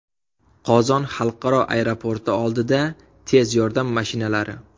Qozon xalqaro aeroporti oldida tez yordam mashinalari.